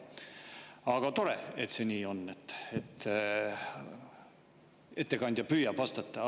Aga tore, et see nii on, et ettekandja püüab vastata.